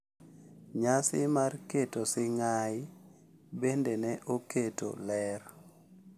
Nyasi mar keto sing’ai bende ne oketo ler